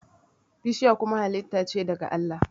bishiya kuma halitta ce daga Allah